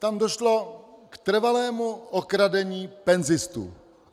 Tam došlo k trvalému okradení penzistů.